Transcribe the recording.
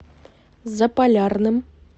заполярным